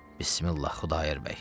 Bismillah Xudayar bəy.